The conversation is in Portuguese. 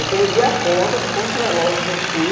Eu perdi a conta de quantos relógios eu fui